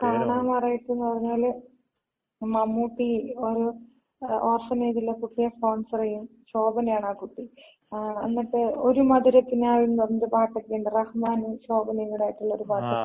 കാണാമറയത്ത്ന്ന് പറഞ്ഞാല് മമ്മൂട്ടി ഒര് ഓർഫനേജിലെ കുട്ടിയെ സ്പോൺസർ ചെയ്യും. ശോഭനയാണ് ആ കുട്ടി. എന്നിട്ട് ഒര് മധുരകിനാവിൻ എന്ന് പറഞ്ഞ ഒരു പാട്ടൊക്കെയുണ്ടല്ലൊ. റഹ്മാനും ശോഭനയും കൂടി ആയിട്ടുള്ള ഒര് പാട്ട്.